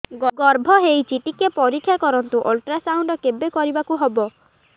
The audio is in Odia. ଗର୍ଭ ହେଇଚି ଟିକେ ପରିକ୍ଷା କରନ୍ତୁ ଅଲଟ୍ରାସାଉଣ୍ଡ କେବେ କରିବାକୁ ହବ